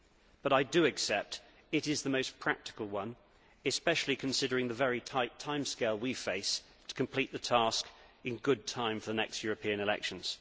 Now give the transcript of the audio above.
but I do accept that it is the most practical one, especially considering the very tight timescale we face to complete the task in good time for the next European elections.